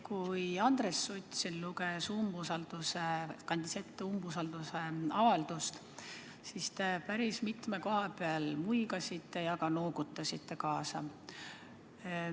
Kui Andres Sutt siin umbusaldusavaldust ette kandis, siis te päris mitme koha peal muigasite ja ka noogutasite kaasa.